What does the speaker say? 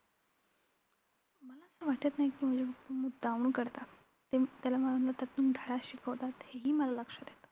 मला वाटत नाही कि माझे papa मुद्दामहून करतात. ते त्यातून धडा शिकवतात हेही मला लक्षात आहे.